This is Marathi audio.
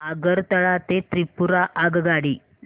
आगरतळा ते त्रिपुरा आगगाडी